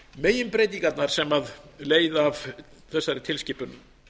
meginbreytingarnar sem leiða af þessari tilskipun